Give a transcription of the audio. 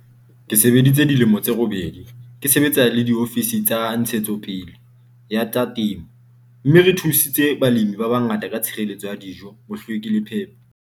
"Ke sebeditse dilemo tse robedi, ke sebetsa le diofisiri tsa ntshetsopele ya tsa temo, mme re thusitse balemi ba bangata ka tshireleto ya dijo, bohlweki le phepo.